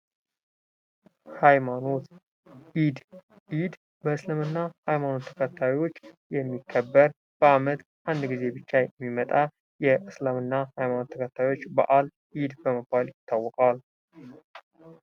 ሀይማኖት ኢድ በእስልምና ሃይማኖት ተከታዮች የሚከበር በዓመት 1 ጊዜ ብቻ የሚመጣ የእስልምና ሃይማኖት ተከታዮች በዓል ኢድ በመባል ይታወቃል።